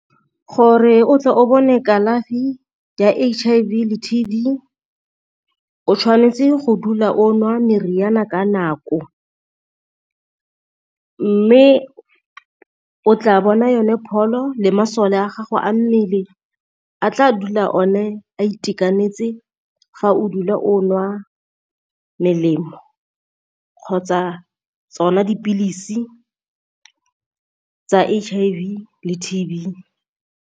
Gore o tla o bone kalafi ya H_I_V le T_B o tshwanetse go dula o nwa meriana ka nako, mme o tla bona yone pholo le masole a gago a mmele a tla dula o ne a itekanetse fa o dula o nwa melemo kgotsa tsona dipilisi tsa H_I_V le T_B.